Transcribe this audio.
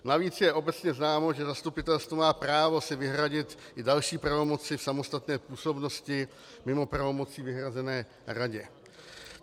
Navíc je obecně známo, že zastupitelstvo má právo si vyhradit i další pravomoci v samostatné působnosti mimo pravomocí vyhrazených radě.